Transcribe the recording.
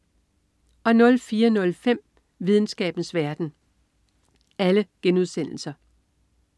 04.05 Videnskabens verden*